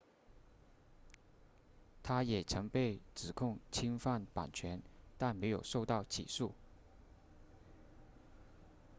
他也曾被指控侵犯版权但没有受到起诉